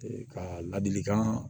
Ee ka ladilikan